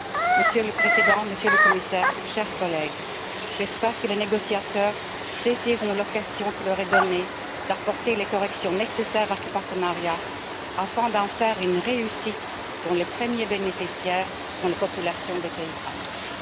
Monsieur le Président, Monsieur le Commissaire, chers collègues, j'espère que les négociateurs saisiront l'occasion qui leur est donnée d'apporter les corrections nécessaires à ce partenariat afin d'en faire une réussite dont les premiers bénéficiaires seront les populations des pays ACP.